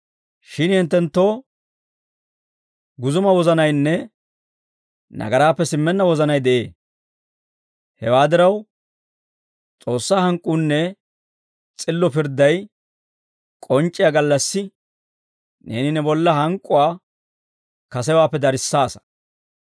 Shin hinttenttoo guzuma wozanaynne nagaraappe simmenna wozanay de'ee; hewaa diraw, S'oossaa hank'k'uunne s'illo pirdday k'onc'c'iyaa gallassi, neeni ne bolla hank'k'uwaa kasewaappe darissaasa.